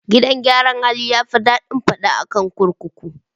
Gidan yaran hali yafi daɗin fada akan gida kurkuku